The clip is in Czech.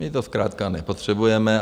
My to zkrátka nepotřebujeme.